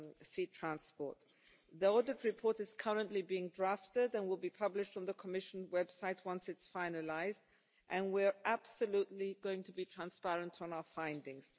sea transport. The audit report is currently being drafted and will be published on the Commission website once it's finalised, and we're absolutely going to be transparent on our findings.